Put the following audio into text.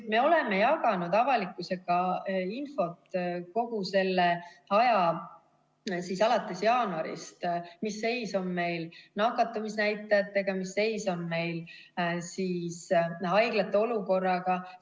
Me oleme jaganud avalikkusega infot kogu selle aja alates jaanuarist: mis seis on meil nakatumisnäitajatega, mis seis on meil haiglate olukorraga.